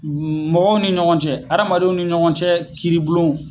Mɔgɔw ni ɲɔgɔn cɛ amadenw ni ɲɔgɔn cɛ kiiribulon